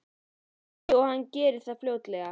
Óskandi að hann geri það fljótlega.